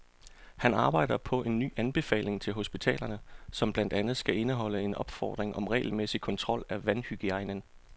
Han arbejder på en ny anbefaling til hospitalerne, som blandt andet skal indeholde en opfordring om regelmæssig kontrol af vandhygiejnen.